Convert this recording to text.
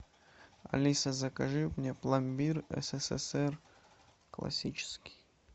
алиса закажи мне пломбир ссср классический